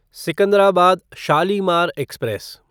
Secunderabad Shalimar express